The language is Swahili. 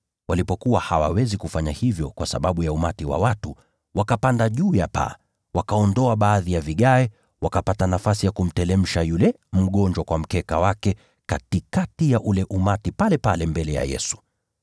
Walipokuwa hawawezi kufanya hivyo kwa sababu ya umati wa watu, wakapanda juu ya paa, wakaondoa baadhi ya matofali, wakamteremsha yule mgonjwa kwa mkeka wake hadi katikati ya ule umati pale mbele ya Yesu.